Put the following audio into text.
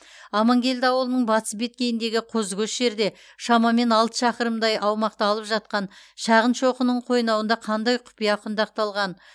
амангелді ауылының батыс беткейіндегі қозыкөш жерде шамамен алты шақырымдай аумақты алып жатқан шағын шоқының қойнауында қандай құпия құндақталған